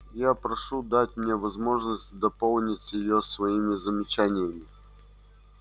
я прошу дать мне возможность дополнить её своими замечаниями